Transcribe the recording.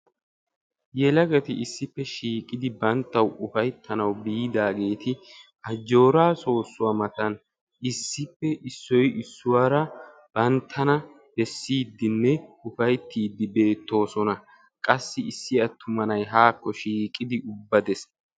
yekagati issippe shiiqidi banttaw ufayttaanw biidaageeti Ajjoora sossuwaa mattan issippe issoy issuwaaara banttana bessidenne ufayttidi beettoosona; qassi issi attuma nay haakko shiiqidi bades.